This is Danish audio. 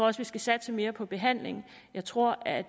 også skal satse mere på behandling jeg tror at